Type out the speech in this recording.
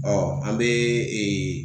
Ɔn, an be